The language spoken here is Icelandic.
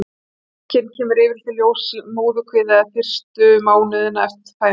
Veikin kemur yfirleitt í ljós í móðurkviði eða fyrstu mánuðina eftir fæðingu.